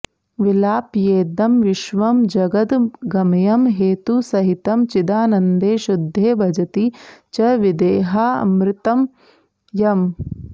विलाप्येदं विश्वं जगदगमयं हेतुसहितं चिदानन्दे शुद्धे भजति च विदेहामृतमयम्